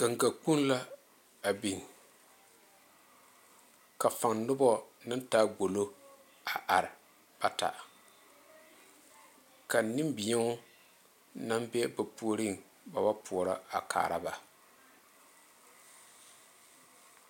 Ganga kpoŋ la a biŋ ka faŋ noba naŋ taa gbolo a are bata ka nenbɛɛo naŋ be ba puori ba wa poɔrɔ.